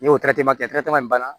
N'o kɛ banna